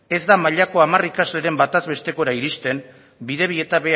ez da mailako hamar ikasleren bataz bestekora iristen bidebieta